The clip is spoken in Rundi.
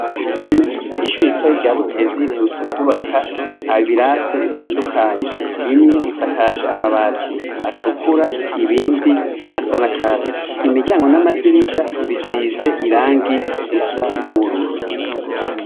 Uruhome, ishure ritoyi rya Butezi riherutse kwubaka ibirase bitandukanye. Bimwe bisakaje amabati atukura ibindi asa n'akatsi. Imiryango n'amadirisha bisize irangi risa n'ubururu.